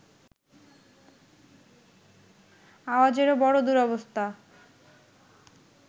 আওয়াজেরও বড় দুরবস্থা